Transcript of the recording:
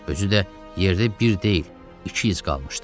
Özü də yerdə bir deyil, iki iz qalmışdı.